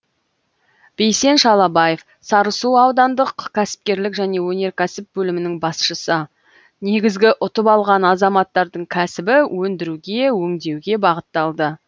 бейсен шалабаев сарысу аудандық кәсіпкерлік және өнеркәсіп бөлімінің басшысы негізгі ұтып алған азаматтардың кәсібі өндіруге өңдеуге бағытталды